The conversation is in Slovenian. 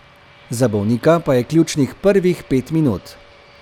Za bolnika pa je ključnih prvih pet minut.